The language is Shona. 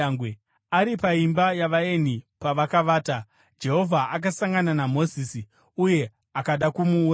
Ari paimba yavaeni pavakavata, Jehovha akasangana naMozisi uye akada kumuuraya.